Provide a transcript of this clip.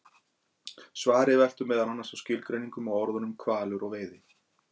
Svarið veltur meðal annars á skilgreiningum á orðunum hvalur og veiði.